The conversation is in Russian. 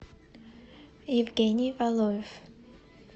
евгений валоев